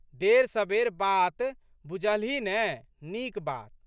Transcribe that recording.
देरसबेर बात बुझलहीं ने। नीक बात।